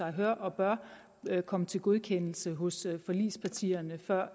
hør og bør kom til godkendelse hos forligspartierne før